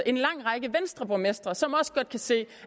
en lang række venstreborgmestre som også godt kan se